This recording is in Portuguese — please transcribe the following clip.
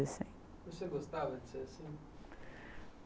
Você gostava de ser assim?